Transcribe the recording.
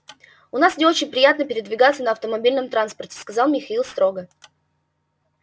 у нас не очень принято передвигаться на автомобильном транспорте сказал михаил строго